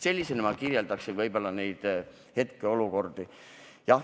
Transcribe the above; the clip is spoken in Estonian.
Sellisena kirjeldaksin ma võib-olla neid hetkeolukordi.